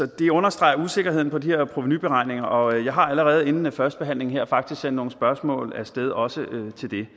det understreger usikkerheden ved de her provenuberegninger og jeg har allerede inden førstebehandlingen her faktisk sendt nogle spørgsmål af sted også